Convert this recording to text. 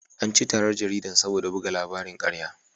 An ci tarar jaridar saboda buga labarin ƙarya.